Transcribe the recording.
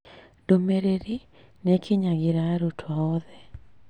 Ndũmĩrĩri nĩ ĩkinyagĩra arutuo oothe